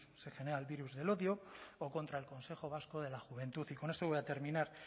se genera el virus el odio o contra el consejo vasco de la juventud y con esto voy a terminar